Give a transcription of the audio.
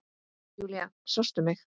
Júlía, sástu mig?